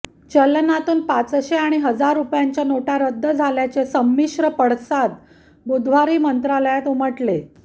चलनातून पाचशे आणि हजार रुपयांच्या नोटा रद्द झाल्याचे संमिश्र पडसाद बुधवारी मंत्रालयात उमटले